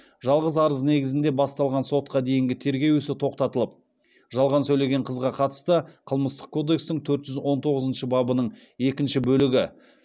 жалған арыз негізінде басталған сотқа дейінгі тергеу ісі тоқтатылып жалған сөйлеген қызға қатысты қылмыстық кодекстің төрт жүз он тоғызыншы бабының екінші бөлігі